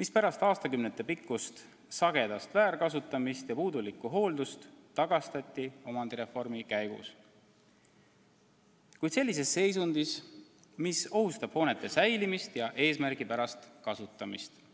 mis pärast aastakümnetepikkust sagedast väärkasutamist ja puudulikku hooldust tagastati omandireformi käigus, kuid sellises seisundis, et hoonete säilimine on ohus ja eesmärgipärane kasutamine raske.